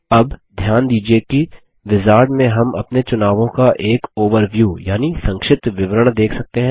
अब ध्यान दीजिये कि विजार्ड में हम अपने चुनावों का एक ओवरव्यू यानि संक्षिप्त विवरण देख सकते हैं